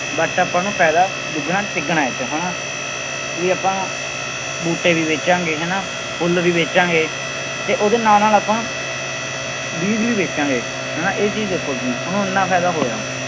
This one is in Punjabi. But ਆਪਾਂ ਨੂੰ ਫ਼ਾਇਦਾ ਦੁੱਗਣਾ ਤੀਗਣਾ ਇਹ ਚ ਹਨਾ, ਵੀ ਆਪਾਂ ਬੂਟੇ ਵੀ ਵੇਚਾਂਗੇ ਹਨਾ ਫੁੱਲ ਵੀ ਵੇਚਾਂਗੇ ਤੇ ਉਹਦੇ ਨਾਲ ਨਾਲ ਆਪਾਂ ਬੀਜ਼ ਵੀ ਵੇਚਾਂਗੇ, ਹਨਾ ਇਹ ਚੀਜ਼ ਦੇਖੋ ਤੁਸੀਂ ਉਹਨੂੰ ਇੰਨਾ ਫ਼ਾਇਦਾ ਹੋਇਆ।